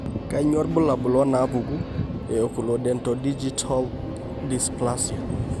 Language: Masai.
Kainyio irbulabul onaapuku eOculodentodigital dysplasia?